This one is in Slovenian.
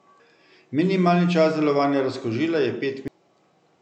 Minimalni čas delovanja razkužila je pet minut.